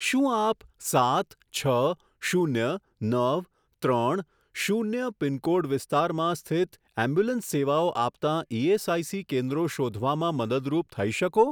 શું આપ સાત છ શૂન્ય નવ ત્રણ શૂન્ય પિનકોડ વિસ્તારમાં સ્થિત એમ્બ્યુલન્સ સેવાઓ આપતાં ઇએસઆઇસી કેન્દ્રો શોધવામાં મદદરૂપ થઈ શકો?